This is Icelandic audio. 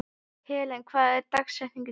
Helen, hver er dagsetningin í dag?